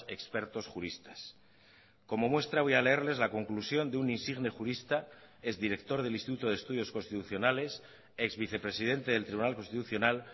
expertos juristas como muestra voy a leerles la conclusión de un insigne jurista ex director del instituto de estudios constitucionales ex vicepresidente del tribunal constitucional